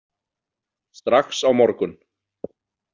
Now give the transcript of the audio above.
Strax á morgun.